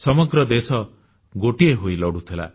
ସମଗ୍ର ଦେଶ ଗୋଟିଏ ହୋଇ ଲଢ଼ୁଥିଲା